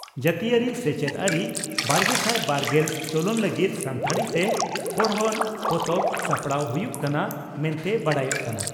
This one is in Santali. ᱡᱟᱹᱛᱤᱭᱟᱹᱨᱤ ᱥᱮᱪᱮᱫ ᱟᱹᱨᱤᱼᱵᱟᱨᱜᱮᱥᱟᱭ ᱵᱟᱨᱜᱮᱞ ᱪᱚᱞᱚᱱ ᱞᱟᱹᱜᱤᱫ ᱥᱟᱱᱛᱟᱲᱤᱛᱮ ᱯᱚᱲᱦᱚᱱ ᱯᱚᱛᱚᱵ ᱥᱟᱯᱲᱟᱣ ᱦᱩᱭᱩᱜ ᱠᱟᱱᱟ ᱢᱮᱱᱛᱮ ᱵᱟᱰᱟᱭᱚᱜ ᱠᱟᱱᱟ ᱾